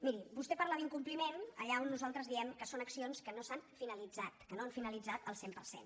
miri vostè parla d’incompliment allà on nosaltres diem que són accions que no s’han finalitzat que no han finalitzat al cent per cent